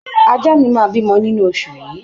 Ajá mi máa bímọ nínú oṣù yìí